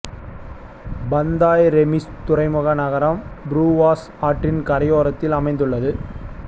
Pantai Remis துறைமுக நகரம் Bruas ஆற்றின் கரையோரத்தில் அமைந்து உள்ளது